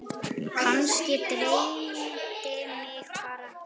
Kannski dreymdi mig bara.